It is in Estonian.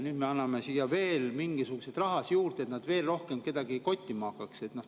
Nüüd me anname siia veel mingisugust raha juurde, et nad veel rohkem kedagi kottima hakkaks.